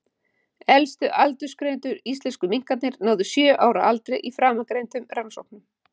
Elstu aldursgreindu íslensku minkarnir náðu sjö ára aldri í framangreindum rannsóknum.